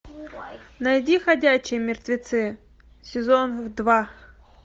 найди ходячие мертвецы сезон два